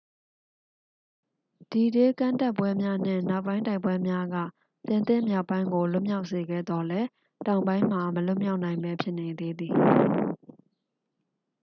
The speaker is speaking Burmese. ဒီဒေး ကမ်းတက်ပွဲများ နှင့် နောက်ပိုင်းတိုက်ပွဲများက ပြင်သစ်မြောက်ပိုင်းကို လွတ်မြောက်စေခဲ့သော်လည်း တောင်ပိုင်းမှာ မလွတ်မြောက်နိုင်ဘဲ ဖြစ်နေသေးသည်